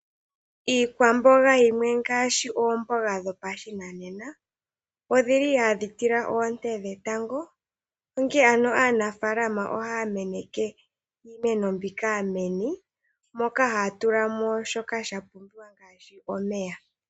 Iikwamboga yimwe ngaashi oomboga dhopashinanena, odhi li hadhi tila oonte dhetango, onkene ano aanafaalama ohaa meneke iimeno mbika meni, moka haa tula mo shoka sha pumbiwa ngaashi omeya.